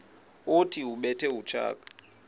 othi ubethe utshaka